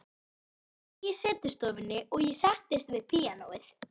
Það var enginn í setustofunni og ég settist við píanóið.